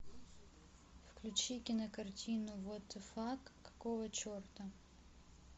включи кинокартину вот а фак какого черта